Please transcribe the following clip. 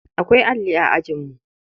Akwai alli a ajinmu.